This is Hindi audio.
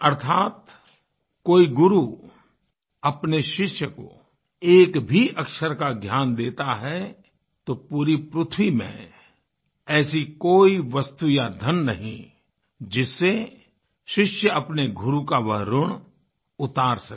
अर्थात कोई गुरु अपने शिष्य को एक भी अक्षर का ज्ञान देता है तो पूरी पृथ्वी में ऐसी कोई वस्तु या धन नहीं जिससे शिष्य अपने गुरु का वह ऋण उतार सके